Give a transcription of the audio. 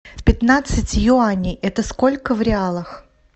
пятнадцать юаней это сколько в реалах